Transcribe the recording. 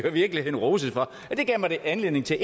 i virkeligheden roses for det gav mig anledning til